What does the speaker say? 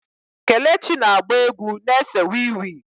Kelechi na-agba egwu na-ese wii wii.